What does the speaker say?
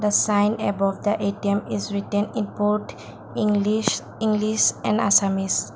sign about the A_T_M is written about english english and assamese.